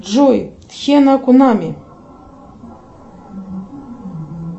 джой тхена кунами